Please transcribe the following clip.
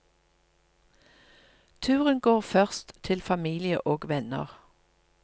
Turen går først til familie og venner.